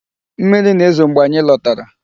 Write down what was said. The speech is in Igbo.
Mmiri na-ezo mgbe anyị lotara.